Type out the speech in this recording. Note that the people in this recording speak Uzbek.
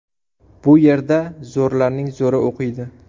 Bu yerda zo‘rlarning zo‘ri o‘qiydi.